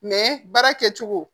baara kɛcogo